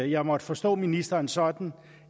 jeg måtte forstå ministeren sådan